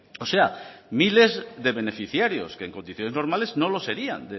o sea miles de beneficiarios que en condiciones normales no lo serían